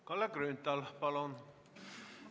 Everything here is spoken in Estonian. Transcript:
Kalle Grünthal, palun!